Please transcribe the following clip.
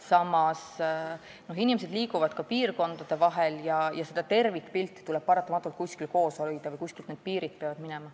Samas liiguvad inimesed ka piirkondade vahel ja seda tervikpilti tuleb paratamatult koos hoida: kuskilt peavad need piirid minema.